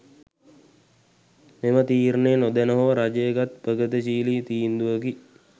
මෙම තීරණය නොදැන හෝ රජය ගත් ප්‍රගතිශීලී තීන්දුවකි.